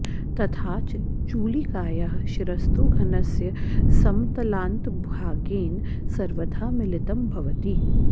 तथाच चूलिकायाः शिरस्तु घनस्य समतलान्तभागेन सर्वथा मिलितं भवति